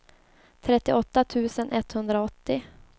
trettioåtta tusen etthundraåttio